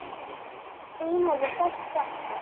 þín verður sárt saknað.